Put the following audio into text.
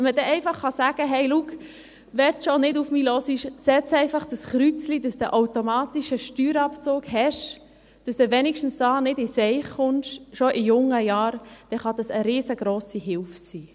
Wenn man dann einfach sagen, kann, «Schau, wenn du schon nicht auf mich hörst, setz doch einfach hier ein Kreuz, damit du den automatischen Steuerabzug kriegst und zumindest nicht schon in jungen Jahren in Schwierigkeiten gerätst», kann dies eine riesengrosse Hilfe sein.